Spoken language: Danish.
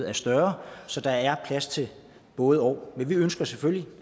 er større så der er plads til både og men vi ønsker selvfølgelig